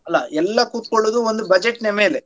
ಅಲ್ಲಾ ಎಲ್ಲ ಕುತ್ಕೊಳೋದು ಒಂದು budget ನ ಮೇಲೆ.